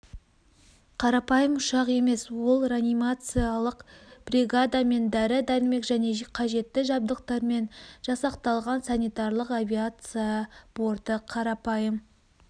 қарапайым ұшақ емес ол реанимациялық бригадамен дәрі-дәрмек және қажетті жабдықтармен жасақталған санитарлық авиация борты қарапайым